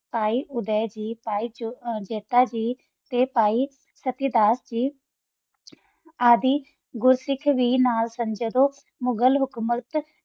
ਪੈ ਓਹਦਾ ਜੀ ਪੈ ਜਤਾ ਜੀ ਤਾ ਪੈ ਸਤੀਦਾਸ ਜੀ ਆਦਿ ਗੁਰ ਸਾਖ ਵੀ ਨਾਲ ਸੰਤ ਜਦੋ ਗਲ ਹੁਕ੍ਮੁਲਤ ਹੋ ਗੀ